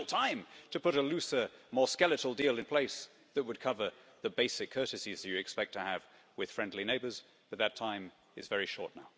There's still time to put a looser, more skeletal deal in place that would cover the basic courtesies you expect to have with friendly neighbours, but that time is very short now.